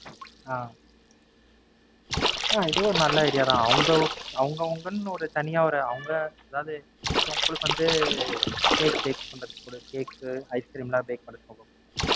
ஆஹ் இதுவும் ஒரு நல்ல Idea தான். அவங்க அவங்க அவங்கன்னு ஒரு தனியா ஒரு அவங்க அதாவது உங்களுக்கு வந்து Cake bake பண்ணக் கொடு. Cake உ Ice cream bake பண்ண